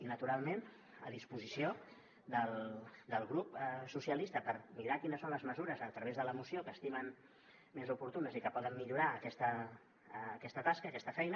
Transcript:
i naturalment a disposició del grup socialistes per mirar quines són les mesures a través de la moció que estimen més oportunes i que poden millorar aquesta tasca aquesta feina